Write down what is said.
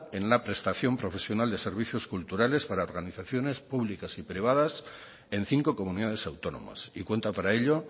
en la prestación profesional de servicios culturales para organizaciones públicas y privadas en cinco comunidades autónomas y cuenta para ello